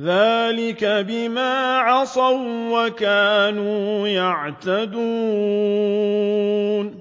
ذَٰلِكَ بِمَا عَصَوا وَّكَانُوا يَعْتَدُونَ